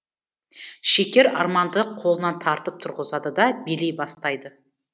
шекер арманды қолынан тартып тұрғызады да билей бастайды